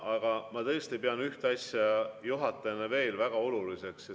Aga ma tõesti pean ühte asja juhatajana veel väga oluliseks.